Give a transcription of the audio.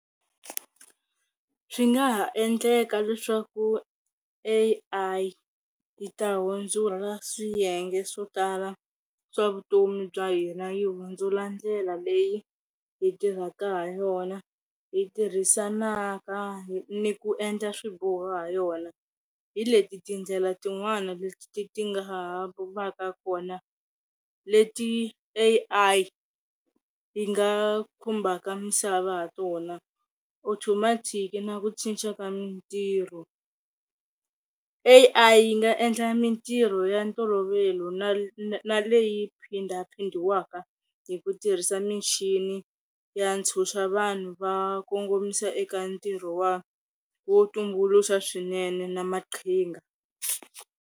Swi nga ha endleka leswaku A_I yi ta hundzuka swiyenge swo tala swa vutomi bya hina, yi hundzula ndlela leyi hi tirhaka ha yona hi tirhisaka ni ku endla swiboho ha yona. Hi leti tindlela tin'wani leti ti nga va ka kona leti A_I yi nga khumbhaka misava ha tona automatic na ku cinca ka mitirho. A_I yi nga endla mitirho ya ntolovelo na na leyi phinda phindiwaka hi ku tirhisa michini ya ntshuxa vanhu va kongomisa eka ntirho wa wo tumbuluxa swinene na maqhinga.